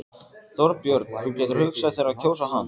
Þorbjörn: Þú getur hugsað þér að kjósa hann?